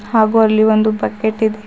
ಹಾಗು ಅಲ್ಲಿ ಒಂದು ಬಕೆಟ್ ಇದೆ.